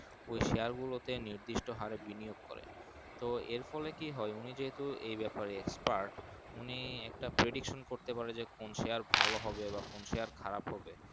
ওই Share তে নির্দিষ্ট ভাবে বিনিয়োগ করে তো এর ফলে কি হয় উনি যেহেতু এই বাপের এ Expiret উনি একটা Padosan করতে পারে যে কোন Share ভালো হবে বা কোন Share খারাপ হবে।